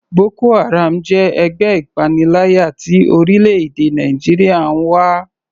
Boko haram jẹ́ ẹgbẹ́ ìpaniláyà tí orílẹ̀-èdè Nàìjíríà ń wá.